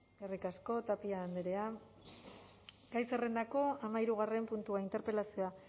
eskerrik asko tapia andrea gai zerrendako hamahirugarren puntua interpelazioa